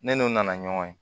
Ne n'u nana ɲɔgɔn ye